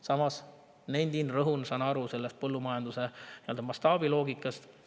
Samas nendin ja rõhutan, et ma saan aru põllumajanduse mastaabiloogikast.